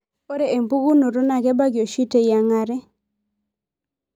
Ore enapukunoto naa kebaki oshi teyiangare.